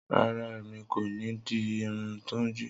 Rara, Emi ko ni di irun Tunji.